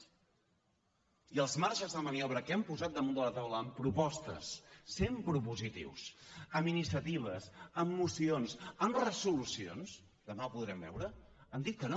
i sobre els marges de maniobra que hem posat damunt de la taula amb propostes sent propositius amb iniciatives amb mocions amb resolucions demà ho podrem veure han dit que no